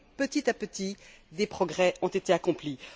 Petit à petit, des progrès ont été accomplis.